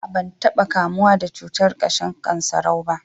a'a ban taba kamuwa da cutar kashin sankarau ba